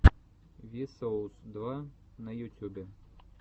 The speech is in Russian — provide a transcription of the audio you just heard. ви соус два на ютюбе